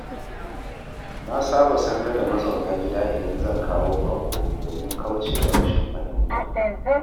Na saba sanar da mazauna gida idan zan kawo baƙo domin kauce wa rashin fahimta.